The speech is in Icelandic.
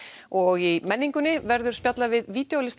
og í menningunni verður spjallað við